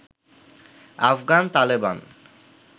Afghan Taliban